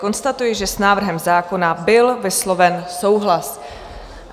Konstatuji, že s návrhem zákona byl vysloven souhlas.